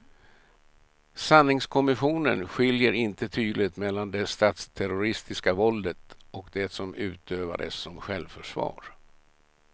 Sanningskommissionen skiljer inte tydligt mellan det statsterroristiska våldet och det som utövades som självförsvar.